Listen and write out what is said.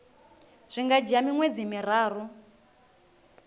zwi nga dzhia miṅwedzi miraru